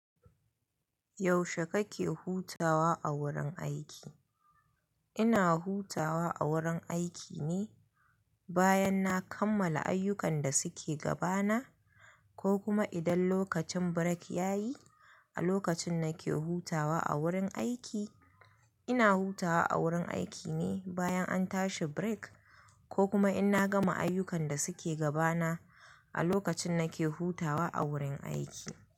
Yaushe kake hutawa a wurin aiki? Ina hutawa a wurin aiki ne bayan na kammala ayyukan da suke gabana, ko kuma idan lokacin birek yayi. A lokacin nake hutawa a wurin aiki, ina hutawa a wurin aiki ne bayan an tashi birak, ko kuma in na gama ayyukan da suke gabana a lokacin nake hutawa a wurin aiki.